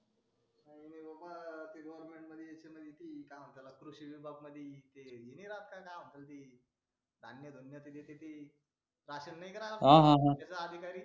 कृषी विभाग मध्ये ते हे नाही राहत का ते प्रत्येक क्षेत्र धान्य भिन्न भरण्यासाठी राशन नाही राहत त्याचा अधिकारी